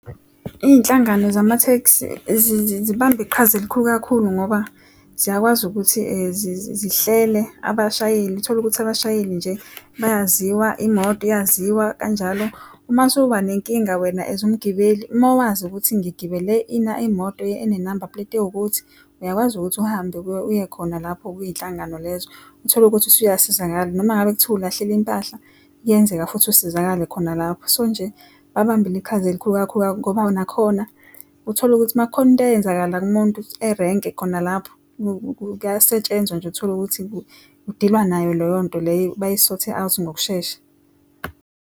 Izinhlangano zamatekisi zibambe iqhaza elikhulu kakhulu ngoba ziyakwazi ukuthi zihlelele abashayeli utholukuthi abashayeli nje bayaziwa imoto iyaziwa kanjalo uma usuba nenkinga wena as umgibeli, uma wazi ukuthi ngigibele imoto enenamba puleti ewukuthi uyakwazi ukuthi uhambe uye khona lapho kwinhlangano lezo utholukuthi usuyasizakala noma ngabe kuthiwa ulahlele impahla kuyenzeka futhi usizakale khona lapho so nje babambe iqhaza elikhulu kakhulu ngoba nakhona utholukuthi uma kukhona into eyenzakalayo umuntu erenke khona lapho kuyasetshenzwa nje utholukuthi kudilwa nayo leyonto leyo, bayi-sort out ngokushesha.